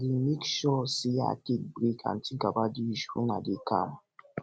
i dey make sure say i take break and think about di issues when i dey calm